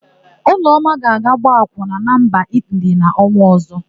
Ọlụọma ga-aga ịgba akwụna na mba Itili n'ọnwa ọ̀zọ́.